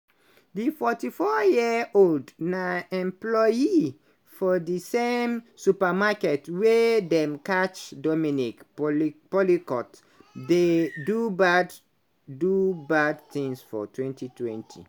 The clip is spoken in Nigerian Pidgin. di 44-year-old na employee for di same supermarket wia dem catch dominique pelicot dey do bad do bad thing for 2020.